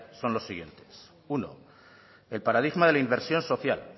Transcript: son los siguientes uno el paradigma de la inversión social